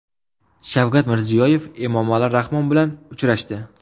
Shavkat Mirziyoyev Emomali Rahmon bilan uchrashdi.